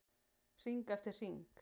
Hring eftir hring.